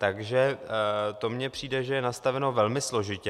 Takže to mně přijde, že je nastaveno velmi složitě.